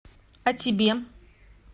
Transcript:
а тебе